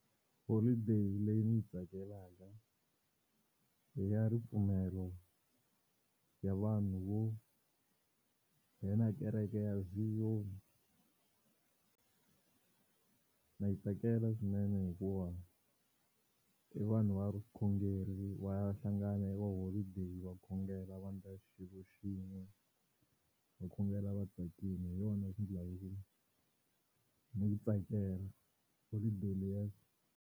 Holiday leyi ndzi yi tsakelaka i ya ripfumelo ya vanhu vo nghena kereke ya Zion, ndza yi tsakela swinene hikuva i vanhu va vukhongeri va ya hlangana hi holideyi va khongela va endla xilo xin'we va khongela vatsakile hi yona ku ni yi tsakela holiday leyi.